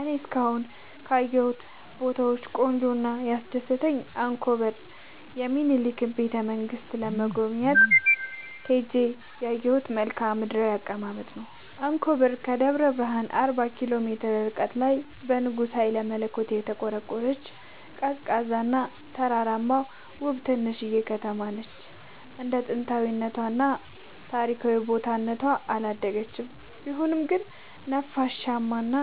እኔ እስካሁን ካየሁት ቦታወች ቆንጆው እና ያስደሰተኝ አንኮበር የሚኒልክን ቤተ-መንግስት ለመጎብኘት ሄጄ ያየሁት መልከአ ምድራዊ አቀማመጥ ነው። አንኮበር ከደብረ ብረሃን አርባ ኪሎ ሜትር ርቀት ላይ በንጉስ ሀይለመለኮት የተቆረቆረች፤ ቀዝቃዛ እና ተራራማ ውብ ትንሽዬ ከተማነች እንደ ጥንታዊ እና ታሪካዊ ቦታ እነቷ አላደገችም ቢሆንም ግን ነፋሻማ እና